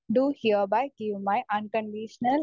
speaker 1 do hereby give my un conditional